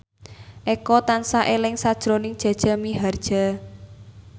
Eko tansah eling sakjroning Jaja Mihardja